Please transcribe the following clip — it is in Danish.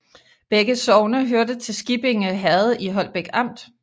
Begge sogne hørte til Skippinge Herred i Holbæk Amt